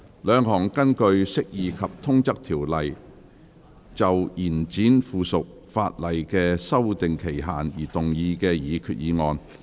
兩項根據《釋義及通則條例》就延展附屬法例的修訂期限而動議的擬議決議案。